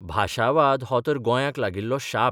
भाशावाद हो तर गोंयांक लागिल्लो शाप.